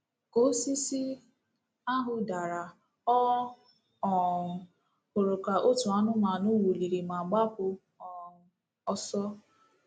Ka osisi ahụ dara, ọ um hụrụ ka otu anụmanụ wụliri ma gbapụ um ọsọ